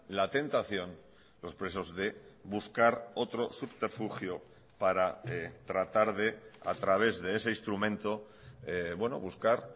la tentación los presos de buscar otro subterfugio para tratar de a través de ese instrumento buscar